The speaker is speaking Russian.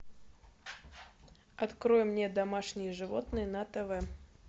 открой мне домашние животные на тв